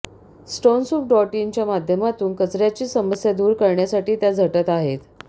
Stonesoup dot in च्या माध्यमातून कचर्याची समस्या दूर करण्यासाठी त्या झटत आहेत